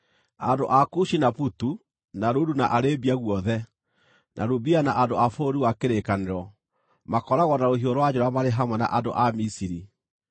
Andũ a Kushi na Putu, na Ludu, na Arabia guothe, na Lubia, na andũ a bũrũri wa kĩrĩkanĩro, makooragwo na rũhiũ rwa njora marĩ hamwe na andũ a Misiri.